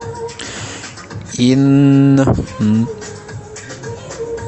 инн